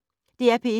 DR P1